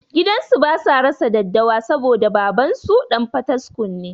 Gidansu basa rasa daddawa saboda babansu ɗan fataskum ne